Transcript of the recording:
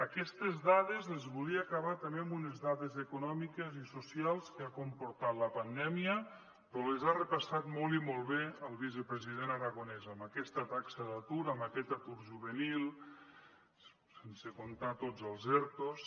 aquestes dades les volia acabar també amb unes dades econòmiques i socials que ha comportat la pandèmia però les ha repassat molt i molt bé el vicepresident aragonès amb aquesta taxa d’atur amb aquest atur juvenil sense comptar tots els ertos